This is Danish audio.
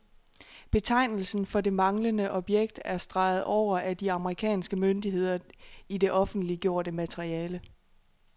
Betegnelsen for det manglende objekt er streget over af de amerikanske myndigheder i det offentliggjorte materiale.